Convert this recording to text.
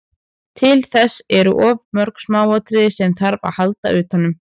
Til þess eru of mörg smáatriði sem þarf að halda utanum.